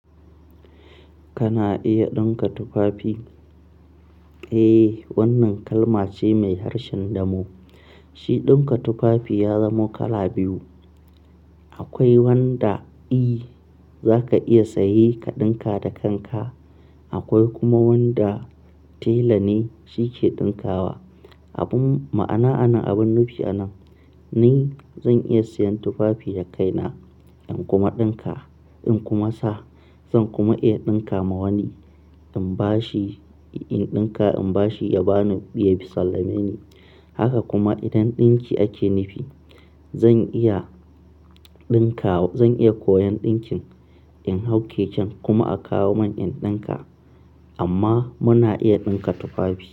Kana iya ɗinka tufafi? Eh, wannan kalma ce mai harshen damo. Shi ɗinka tufafi ya zamo kala biyu. Akwai wanda i za ka iya sayi ka ɗinka da kanka, akwai kuma wanda tela ne shi ke ɗinkawa. Abin ma'ana a nan, abin nufi a nan, ni zan iya siyan tufafi da kaina in kuma ɗinka, in kuma sa. Zan kuma iya ɗinka ma wani in ba shi, in ɗinka in ba shi ya ba ni, ya sallame ni. Haka kuma idan ɗinki ake nufi, zan iya ɗinka, zan iya koyon ɗinkin in hau keken kuma a kawo mun in ɗinka. Amma muna iya ɗinka tufafi.